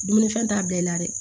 Dumunifɛn t'a bɛɛ la dɛ